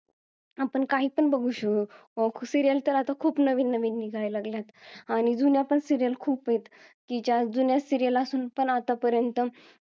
आपण काही पण बघू श~ serial तर आता खूप नवीन नवीन निघायलागल्यात आणि जुन्या पण serial खूप आहेत आणि ज्या जुन्या serial असून पण आतापर्यंत